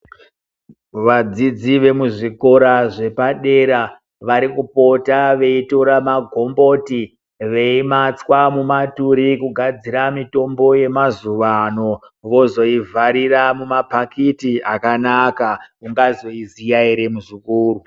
Vadzidzi vemuzvikora zvepadera varikupota veitora magomboti veimatswa mumaturi kugadzira mitombo yemazuva ano vozoivharira mumapakati akanaka. Ungazoiziya here muzukuru.